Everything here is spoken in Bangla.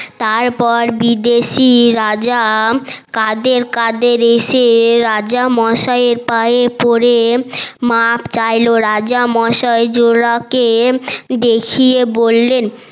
তারপর বিদেশি রাজা দাকে দাকে এসে রাজা মসাই এর পায়ে পরে মাফ চাইল রাজা মসাই জোলা কে দেখিয়ে বললেন